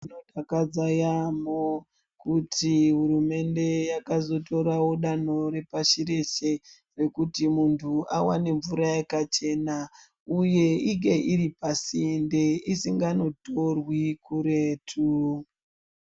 Zvinodakadza yaamho kuti hurumende yakazotorawo danho repashi reshe rekuti muntu awane mvura yakachena uye inge iri pasinde, isinganotorwi kuretu.